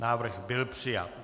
Návrh byl přijat.